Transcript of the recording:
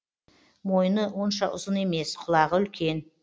мойны онша ұзын емес құлағы үлкен